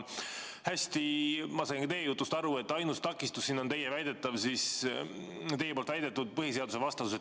Hästi, ma sain ka teie jutust aru, et ainus takistus siin on teie poolt väidetud põhiseadusvastasus.